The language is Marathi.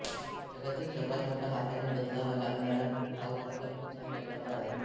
जगातील सर्वात मोठा हाताने बदलावा लागणारा धावफलक ह्या मैदानावर आहे